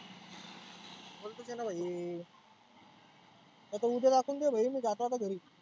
बोलतोच आहे ना भाई. आता उद्या दाखवून देऊ भाई मी जातो आता घरी.